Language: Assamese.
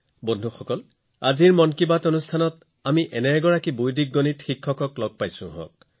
বন্ধুসকল আজি মন কী বাতত বৈদিক গণিত শিকোৱা এজন ব্যক্তিয়ে আমাৰ সৈতে যোগদান কৰিছে